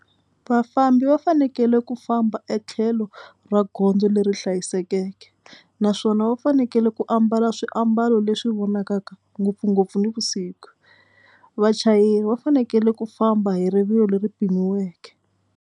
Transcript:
Vafambi va fanekele ku famba etlhelo ra gondzo leri hlayisekeke naswona va fanekele ku ambala swiambalo leswi vonakaka ngopfungopfu nivusik. Vachayeri va fanekele ku famba hi rivilo leri pimiweke.